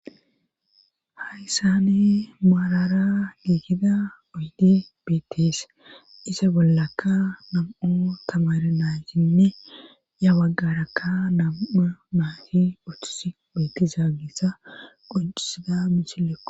hayssani maarara giekida oyde beettees isa bollakka nam7o tamarinanshinne ya baggarakka nam7a naati ochis beetiza geessa qoncisida mishilleko